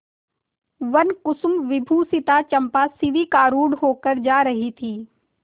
वनकुसुमविभूषिता चंपा शिविकारूढ़ होकर जा रही थी